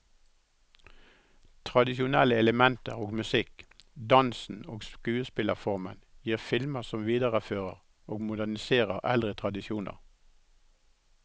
Tradisjonelle elementer og musikken, dansen og skuespillerformen gir filmer som viderefører og moderniserer eldre tradisjoner.